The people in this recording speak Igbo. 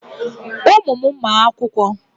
Ụmụ m ma akwụkwọ.